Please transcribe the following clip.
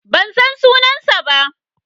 Ban san sunansa ba.